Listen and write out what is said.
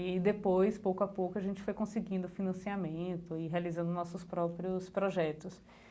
E depois, pouco a pouco, a gente foi conseguindo financiamento e realizando nossos próprios projetos.